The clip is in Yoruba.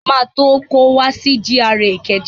Mo máa tó kó wá si GRA Ìkẹjà